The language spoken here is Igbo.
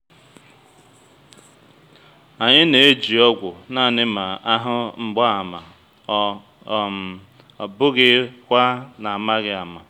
anyị na-eji ọgwụ naanị ma a hụ mgbaàmà ọ um bụghị kwa n’amaghị ama